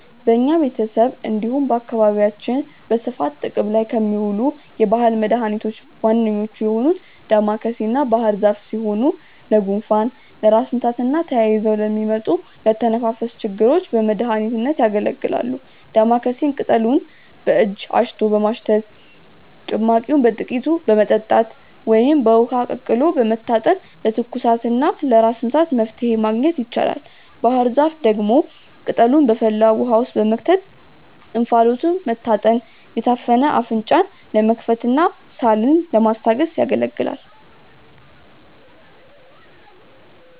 በኛ ቤተሰብ እንዲሁም በአካባቢያችን በስፋት ጥቅም ላይ ከሚውሉ የባህል መድኃኒቶች ዋነኞቹ የሆኑት ዳማከሴና ባህርዛፍ ሲሆኑ ለጉንፋን፣ ለራስ ምታትና ተያይዘው ለሚመጡ የአተነፋፈስ ችግሮች በመድሀኒትነት ያገለግላሉ። ዳማከሴን ቅጠሉን በእጅ አሽቶ በማሽተት፣ ጭማቂውን በጥቂቱ በመጠጣት ወይም በውሃ ቀቅሎ በመታጠን ለትኩሳትና ለራስ ምታት መፍትሔ ማግኘት ይቻላል። ባህርዛፍ ደግሞ ቅጠሉን በፈላ ውሃ ውስጥ በመክተት እንፋሎቱን መታጠን የታፈነ አፍንጫን ለመክፈትና ሳልን ለማስታገስ ያገለግላል።